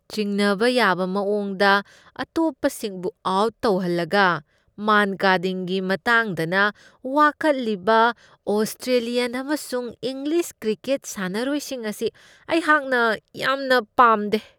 ꯆꯤꯡꯅꯕ ꯌꯥꯕ ꯃꯋꯣꯡꯗ ꯑꯇꯣꯞꯄꯁꯤꯡꯕꯨ ꯑꯥꯎꯠ ꯇꯧꯍꯜꯂꯒ ꯃꯥꯟꯀꯥꯗꯤꯡꯒꯤ ꯃꯇꯥꯡꯗꯅ ꯋꯥꯀꯠꯂꯤꯕ ꯑꯣꯁꯇ꯭ꯔꯦꯂꯤꯌꯟ ꯑꯃꯁꯨꯡ ꯏꯪꯂꯤꯁ ꯀ꯭ꯔꯤꯀꯦꯠ ꯁꯥꯟꯅꯔꯣꯏꯁꯤꯡ ꯑꯁꯤ ꯑꯩꯍꯥꯛꯅ ꯌꯥꯝꯅ ꯄꯥꯝꯗꯦ ꯫